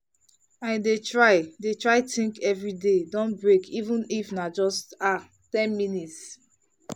i dey try dey try think every day don break even if na just ah ten minutes.